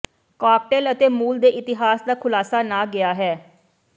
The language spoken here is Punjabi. ਕਾਕਟੇਲ ਅਤੇ ਮੂਲ ਦੇ ਇਤਿਹਾਸ ਦਾ ਖੁਲਾਸਾ ਨਾ ਗਿਆ ਹੈ